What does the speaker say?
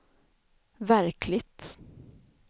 verkligt